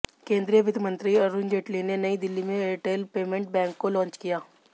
केंद्रीय वित्त मंत्री अरुण जेटली ने नई दिल्ली में एयरटेल पेमेंट बैंक को लॉन्च किया